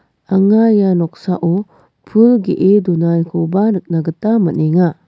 anga ia noksao pul ge·e donakoba nikna gita man·enga.